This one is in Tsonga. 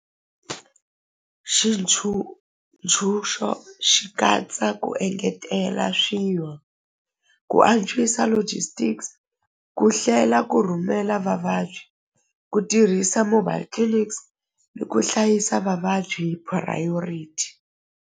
xi katsa ku engetela ku antswisa logistics ku hlela ku rhumela vavabyi ku tirhisa mobile clinics ni ku hlayisa vavabyi priority.